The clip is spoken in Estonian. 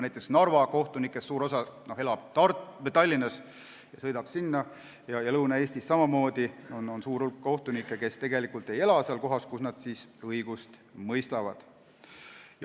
Näiteks elab suur osa Narva kohtunikest Tallinnas ja sõidab Narva vahet, Lõuna-Eestis on samamoodi suur hulk kohtunikke, kes tegelikult ei ela seal, kus nad õigust mõistavad.